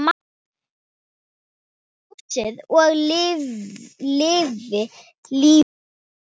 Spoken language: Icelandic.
Lifi ljósið og lifi lífið!